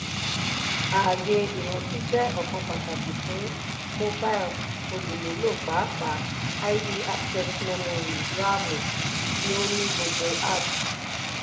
ààyè ìrántí jẹ́ ọ̀kan pàtàkì fún mobile olùmúlò pàápàá id access memory (ramu) ti ó ní gbogbo apps.